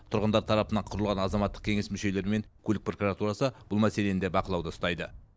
тұрғындар тарапынан құрылған азаматтық кеңес мүшелері мен көлік прокуратурасы бұл мәселені де бақылауда ұстайды